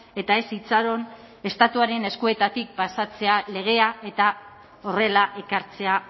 eta ez itxaron estatuaren eskuetatik pasatzea legea eta horrela ekartzea